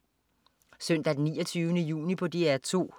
Søndag den 29. juni - DR 2: